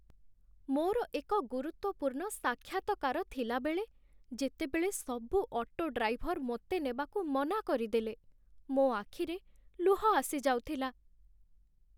ମୋର ଏକ ଗୁରୁତ୍ୱପୂର୍ଣ୍ଣ ସାକ୍ଷାତକାର ଥିଲାବେଳେ, ଯେତେବେଳେ ସବୁ ଅଟୋ ଡ୍ରାଇଭର ମୋତେ ନେବାକୁ ମନା କରିଦେଲେ ମୋ ଆଖିରେ ଲୁହ ଆସି ଯାଉଥିଲା।